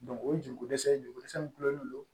o ye jogo kosɛ ye jogo kosɛ kulonnen don